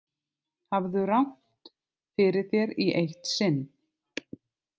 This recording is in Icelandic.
Hafðu rangt fyrir þér í eitt sinn.